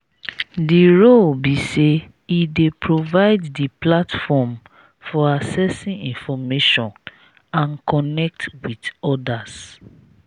di role be say e dey provide di platform for accessing information and connect with odas.